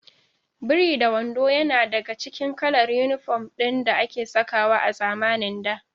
Biri-da-wando yana daka cikin kalar inifom ɗin da ake sakawa a zamanin da